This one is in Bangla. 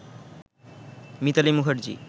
মিতালী মুখার্জী